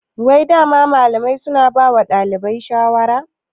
Wai dama malamai suna bawa ɗalibai shawara?